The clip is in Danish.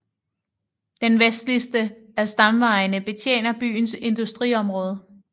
Den vestligste af stamvejene betjener byens industriområde